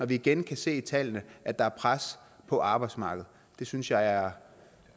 vi igen kan se af tallene at der er pres på arbejdsmarkedet det synes jeg er